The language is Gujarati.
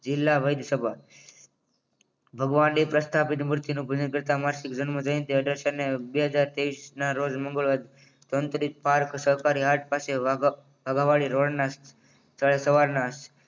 જિલ્લા વૈદ્યસભા ભગવાને પ્રસ્થાપિત મૂર્છિત નું ભલું કરતા માસિક ભાનમાં જઈ તે બે હજાર ત્રેવીસ ના રોજ મંગળ-વાર સરકારે વહેલી સવારના